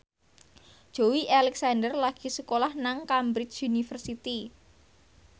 Joey Alexander lagi sekolah nang Cambridge University